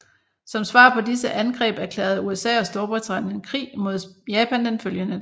Som svar på disse angreb erklærede USA og Storbritannien krig mod Japan den følgende dag